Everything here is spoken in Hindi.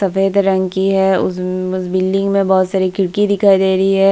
सफेद रंग की है उस उस बिल्डिंग में बहुत सारी खिड़की दिखाई दे रही है।